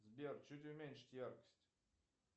сбер чуть уменьшить яркость